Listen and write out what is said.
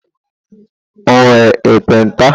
O nwere ekpenta?